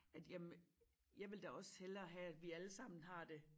At jamen jeg vil da også hellere have at vi alle sammen har det